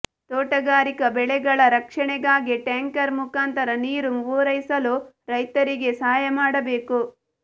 ತೋಟಗಾರಿಕಾ ಬೆಳೆಗಳ ರಕ್ಷಣೆಗಾಗಿ ಟ್ಯಾಂಕರ ಮುಖಾಂತರ ನೀರು ಪೂರೈಸಲು ರೈತರಿಗೆ ಸಹಾಯ ಮಾಡಬೇಕು